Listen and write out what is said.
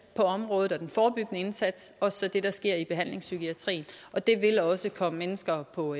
på området og den forebyggende indsats og så det der sker i behandlingspsykiatrien og det vil også komme mennesker på